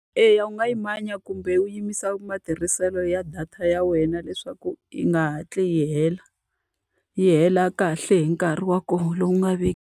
Eya u nga yi manya kumbe u yimisa matirhiselo ya data ya wena leswaku yi nga hatli yi hela, yi hela kahle hi nkarhi wa kona lowu nga .